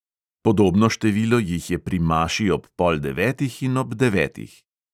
Podobno število jih je pri maši ob pol devetih in ob devetih.